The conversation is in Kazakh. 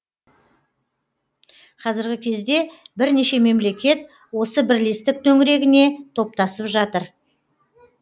қазіргі кезде бірнеше мемлекет осы бірлестік төңірегіне топтасып жатыр